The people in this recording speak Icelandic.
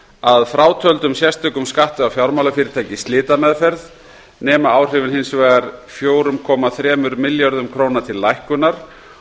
að frátöldum sérstökum skatti á fjármálafyrirtæki í slitameðferð nema áhrifin hins vegar fjögur komma þrjú milljörðum króna til lækkunar